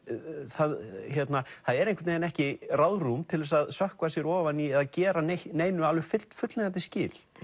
það hérna er einhvern veginn ekki ráðrúm til þess að sökkva sér ofan í eða gera neinu alveg fullnægjandi skil